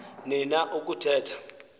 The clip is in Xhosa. ni na ukuthetha